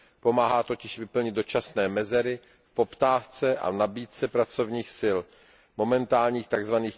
Pomáhá totiž vyplnit dočasné mezery v poptávce a nabídce pracovních sil v momentálních tzv.